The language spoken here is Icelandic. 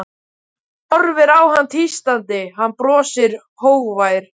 Hún horfir á hann tístandi, hann brosir, hógvær.